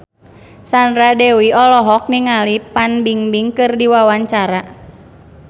Sandra Dewi olohok ningali Fan Bingbing keur diwawancara